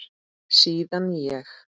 Síðan ég